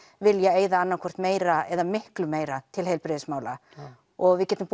vilja eyða annað hvort meira eða miklu meira til heilbrigðismála og við getum